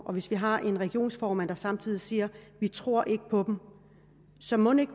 når vi har en regionsformand der samtidig siger vi tror ikke på dem så mon ikke